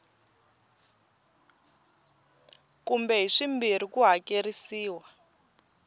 kumbe hi swimbirhi ku hakerisiwa